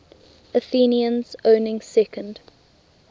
athenians owning second